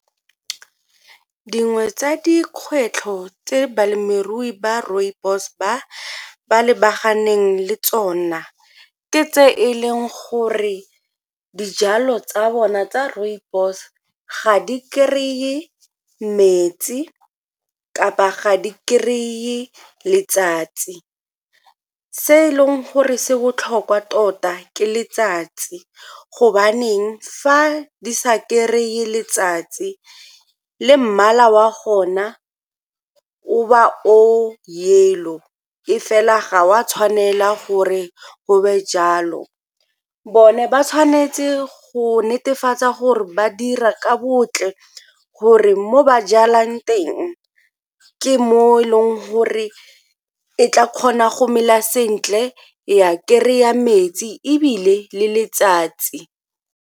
Dingwe tsa dikgwetlho tse balemirui ba rooibos ba lebaganeng le tsona ke tse e leng gore dijalo tsa bona tsa rooibos ga di kry-e metsi kapa ga di kry-e letsatsi. Se e leng gore se botlhokwa tota ke letsatsi gobaneng fa di sa kry-e letsatsi le mmala wa gona o ba o yellow, e fela ga o a tshwanela gore go be jalo. Bone ba tshwanetse go netefatsa gore ba dira ka bontle gore mo ba jalang teng ke mo e leng gore e tla kgona go mela sentle, e a kry-a metsi ebile le letsatsi.